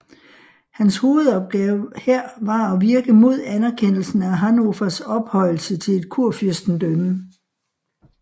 Hans hovedopgave her var at virke mod anerkendelsen af Hannovers ophøjelse til et kurfyrstendømme